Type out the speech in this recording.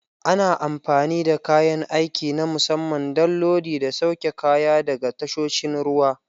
Ana amfani da kayan aiki na musamman don lodi da sauke kaya daga tasoshin ruwa.